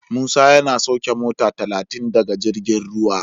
Musa yana sauke mota ta talatin daga jirgin ruwa.